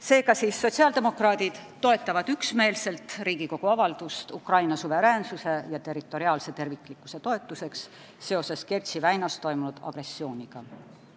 Seega, sotsiaaldemokraadid toetavad üksmeelselt Riigikogu avaldust "Ukraina suveräänsuse ja territoriaalse terviklikkuse toetuseks seoses Kertši väinas toimunud agressiooniga".